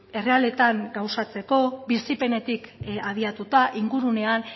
errealetan gauzatzeko bizipenetik habiatuta ingurunean